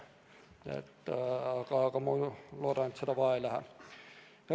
Aga ma loodan, et neid vaja ei lähe.